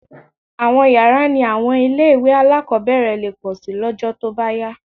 Àwọn yàrá ní àwọn ilé-ìwé alákọ̀ọ́bẹ̀rẹ̀ lè pọ̀ síi lọ́jọ́ tó bá yá